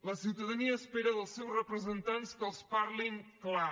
la ciutadania espera dels seus representants que els parlin clar